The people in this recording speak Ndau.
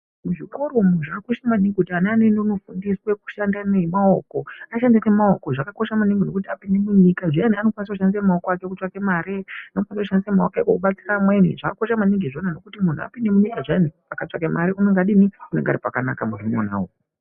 Zvikora zvakakosha maningi kuti ana anoenda kofundiswa ashande nemaoko, ashande nemaoko zvakakosha maningi apinde munyika anokwanisa kushandisa maoko ake kutsvake mare. Anokwanisa kushandisa maoko ake kubatsira amweni zvakakosha maningi zviyani muntu akapinda munyika make zviyani akatsvaka mare unonge ari pakanaka munhu uwowo.